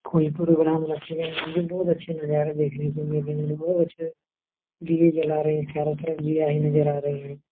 कोई प्रोग्राम रखे गए है बहुत अच्छे नजारे देखने को मिल रहे हैं बहुत अच्छे दिए जला रहे हैं चारो तरफ दीया ही नजर आ रही है।